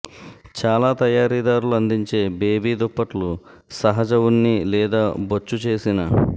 చాలా తయారీదారులు అందించే బేబీ దుప్పట్లు సహజ ఉన్ని లేదా బొచ్చు చేసిన